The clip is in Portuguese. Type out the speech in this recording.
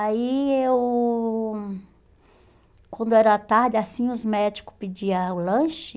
Aí eu... Quando era tarde, assim, os médicos pediam o lanche.